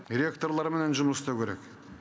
ректорларменен жұмыс істеу керек